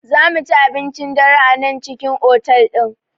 Zamuci abincin dare a nan cikin otal ɗin